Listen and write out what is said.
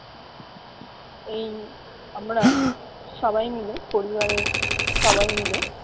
এইং আমরা সবাই মিলে পরিবারের সবাই মিলে